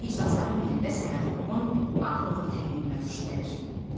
İclasların birində Səməd Vurğun Bağırovun tənqidinə tuş gəlir.